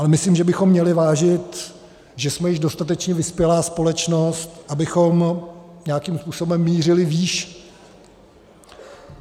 Ale myslím, že bychom měli vážit, že jsme již dostatečně vyspělá společnost, abychom nějakým způsobem mířili výš.